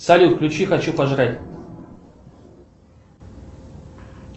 салют включи хочу пожрать